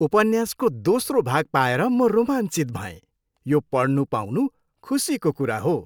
उपन्यासको दोस्रो भाग पाएर म रोमाञ्चित भएँ। यो पढ्नु पाउनु खुसीको कुरा हो।